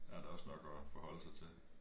Der er da også nok at forholde sig til